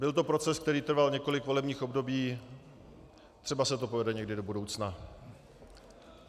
Byl to proces, který trval několik volebních období, třeba se to povede někdy do budoucna.